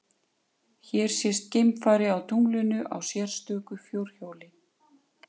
Hér sést geimfari á tunglinu á sérstöku fjórhjóli.